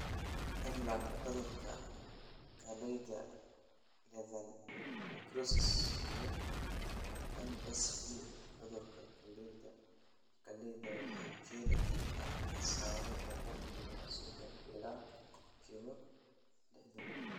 MLND (Cudurka Galleyda Lethal Necrosis) iyo MSV (Cudurka Galleyda Galleyda) waxay keeni karaan khasaaro boqolkiba sodon ilaa boqolkiba lihdan